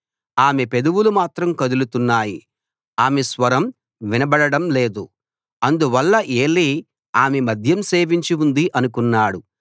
ఆమె పెదవులు మాత్రం కదులుతున్నాయి ఆమె స్వరం వినబడడం లేదు అందువల్ల ఏలీ ఆమె మద్యం సేవించి ఉంది అనుకున్నాడు